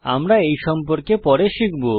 আমরা এই সম্পর্কে পরে শিখব